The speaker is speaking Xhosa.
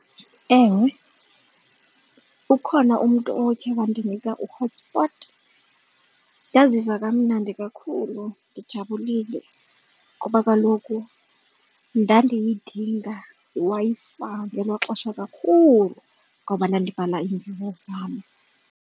Ewe, ukhona umntu okhe wandinika u-hotspot. Ndaziva kamnandi kakhulu ndijabulile ngoba kaloku ndandiyidinga iWi-Fi ngelaa xesha kakhulu ngoba ndandibhala iimviwo zam.